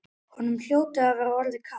Honum hljóti að vera orðið kalt.